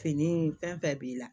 Fini fɛn fɛn b'i la